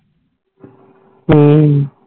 ਹੱਮ